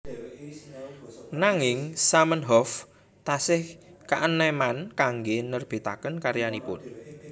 Nanging Zamenhof tasih kaenèmen kanggé nerbitaken karyanipun